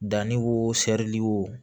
Danni wo seri wo